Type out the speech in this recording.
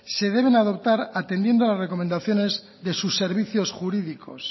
se deben adoptar atendiendo a las recomendaciones de sus servicios jurídicos